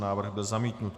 Návrh byl zamítnut.